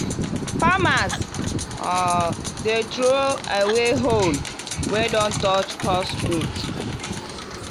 farmers um dey throw away hoe wey don touch cursed roots.